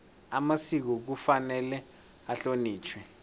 amasiko kufanele ahlonitjhwe